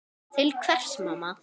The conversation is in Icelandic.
Til hvers mamma?